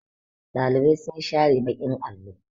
Ɗalibai sun share baƙin allo.